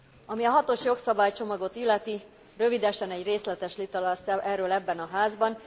Ami a hatos jogszabálycsomagot illeti, rövidesen egy részletes vita lesz erről ebben a Házban.